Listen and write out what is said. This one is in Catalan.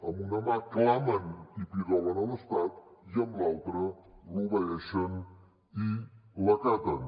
amb una mà clamen i pidolen a l’estat i amb l’altra l’obeeixen i l’acaten